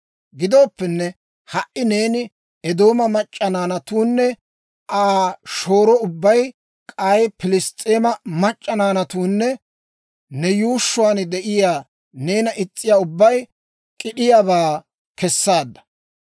Gidooppenne, ha"i neeni Eedooma mac'c'a naanatuunne Aa shooro ubbay, k'ay Piliss's'eema mac'c'a naanatuunne ne yuushshuwaan de'iyaa, neena is's'iyaa ubbay k'id'iyaabaa kesaadda.